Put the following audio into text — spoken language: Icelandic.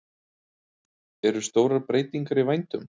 Eru stórar breytingar í vændum?